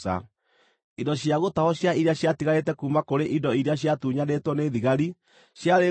Indo cia gũtahwo cia iria ciatigarĩte kuuma kũrĩ indo iria ciatunyanĩtwo nĩ thigari ciarĩ ngʼondu 675,000,